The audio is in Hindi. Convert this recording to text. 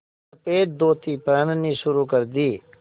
सफ़ेद धोती पहननी शुरू कर दी